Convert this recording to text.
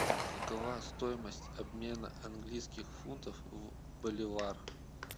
какова стоимость обмена английских фунтов в боливар